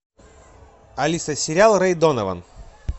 алиса сериал рэй донован